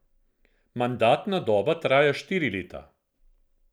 Mandatna doba traja štiri leta.